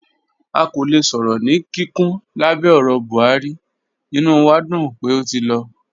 À kò lẹ̀ sọ̀rọ̀ ní kíkún lábẹ̀ ọ̀rọ̀ Buhari, ìnú wà dún pé ó ti lọ.